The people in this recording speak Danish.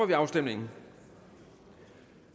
vi afstemningen